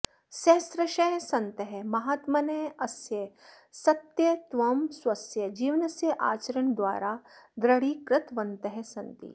सहस्रशः सन्तः महात्मनः अस्य सत्यत्वं स्वस्य जीवनस्य आचरणद्वारा द्रढीकृतवन्तः सन्ति